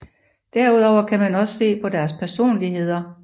Derudover kan man også se på deres personligheder